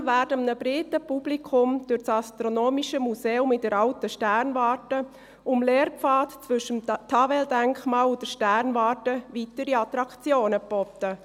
Zudem werden einem breiten Publikum durch das astronomische Museum in der «alten» Sternwarte und dem Lehrpfad zwischen dem Tavel-Denkmal und der Sternwarte weitere Attraktionen geboten.